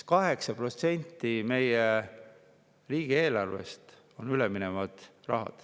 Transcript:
8% meie riigieelarvest on üleminev raha.